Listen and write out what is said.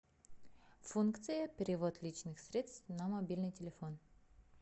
функция перевод личных средств на мобильный телефон